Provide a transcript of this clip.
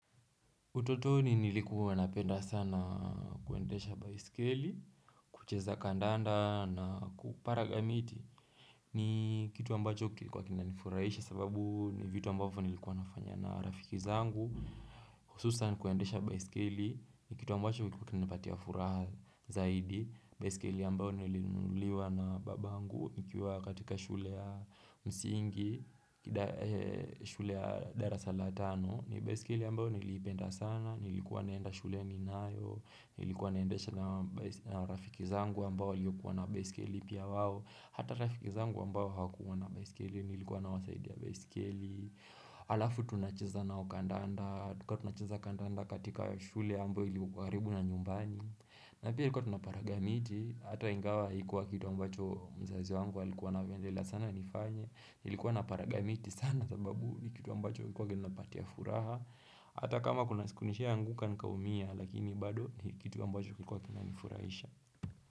Utotoni nilikuwa napenda sana kuendesha baisikeli kucheza kandanda na kupara gamiti ni kitu ambacho kilikuwa kinanifuraishe sababu ni vitu ambacho nilikuwa nafanya na rafiki zangu Hususan kuendesha baisikeli, nikitu ambacho kilikuwa kinipatia furaha zaidi baisikeli ambayo nilinuliwa na babangu nikiwa katika shule ya msingi, shule ya dara sala tano ni baisikeli ambayo nilipenda sana, nilikuwa naenda shule ninayo Nilikuwa naendesha na rafiki zangu ambayo waliyokuwa na baisikeli pia wao Hata rafiki zangu ambao hawakuwa na baisikeli, nilikuwa na wasaidia baisikeli Alafu tunacheza nao kandanda tulikuwa tunacheza kandanda katika shule ambao ilikuwa karibu na nyumbani na pia ilikuwa tunaparagamiti Hata ingawa hikuwa kitu ambacho mzazi wangu walikuwa na pendela sana nifanye Nilikuwa na paragamiti sana sababu ni kitu ambacho kilikuwa kinanipatia furaha Hata kama kuna siku nishainguka nika umia lakini bado ni kitu ambacho kilikuwa kina nifurahisha.